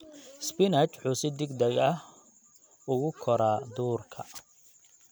Spinach wuxuu si degdeg ah ugu koraa duurka.